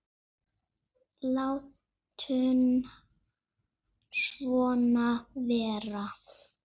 Látum svona vera.